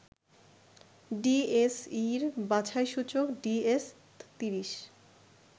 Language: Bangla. ডিএসইর বাছাই সূচক ডিএস-৩০